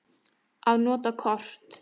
Að nota kort.